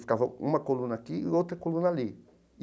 Ficava uma coluna aqui e outra coluna ali.